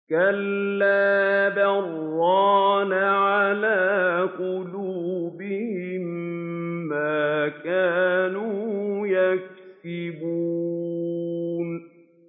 كَلَّا ۖ بَلْ ۜ رَانَ عَلَىٰ قُلُوبِهِم مَّا كَانُوا يَكْسِبُونَ